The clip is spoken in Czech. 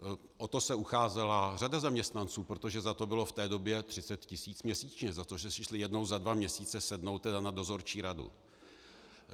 O to se ucházela řada zaměstnanců, protože za to bylo v té době 30 tisíc měsíčně, za to, že si šli jednou za dva měsíce sednout na dozorčí radu.